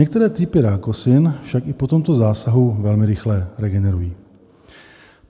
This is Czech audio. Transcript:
některé typy rákosin však i po tomto zásahu velmi rychle regenerují.